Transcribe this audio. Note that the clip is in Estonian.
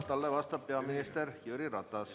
Talle vastab peaminister Jüri Ratas.